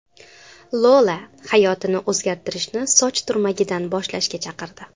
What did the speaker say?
Lola hayotni o‘zgartirishni soch turmagidan boshlashga chaqirdi.